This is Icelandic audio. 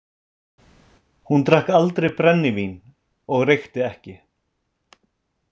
Hún drakk aldrei brennivín og reykti ekki.